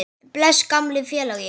Bless, gamli félagi.